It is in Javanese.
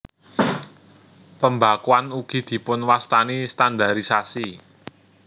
Pembakuan ugi dipunwastani standarisasi